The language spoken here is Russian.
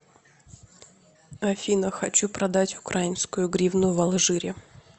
афина хочу продать украинскую гривну в алжире